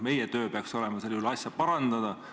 Meie töö peaks olema sel juhul asja parandada.